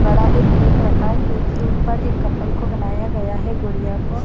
बड़ा एक केक रखा है केक के ऊपर एक कपल को बनाया गया है गुड़िया को--